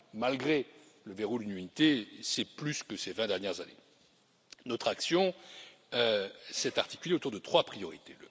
Malgré le verrou de l'unanimité, c'est plus que ces vingt dernières années. Notre action s'est articulée autour de trois priorités.